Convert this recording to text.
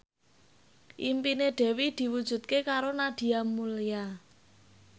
impine Dewi diwujudke karo Nadia Mulya